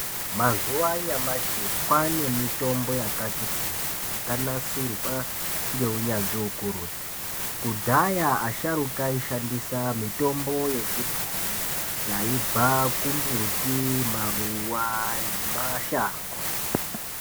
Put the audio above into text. Mazuwa anyamashi kwaane mitombo yakati kuti yakanasirwa ngeunyanzvi ukurutu, kudhaya asharuka aishandisa mitombo yechibhoyi yaibva kumbuti, maruwa nemashango.